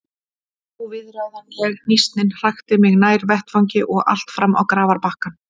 Óviðráðanleg hnýsnin hrakti mig nær vettvangi og allt fram á grafarbakkann.